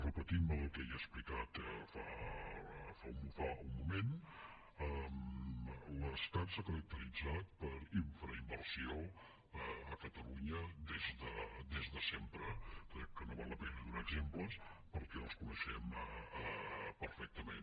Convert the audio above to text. repetint me en el que ja he explicat fa un moment l’estat s’ha caracteritzat per infrainversió a catalunya des de sempre crec que no val la pena donar exemples perquè els coneixem perfectament